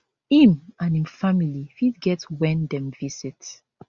im and im family fit get wen dem visit